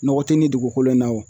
Nɔgɔ te nin dugukolo in na wa?